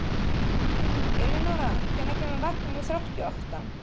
Elenóra, hvenær kemur vagn númer þrjátíu og átta?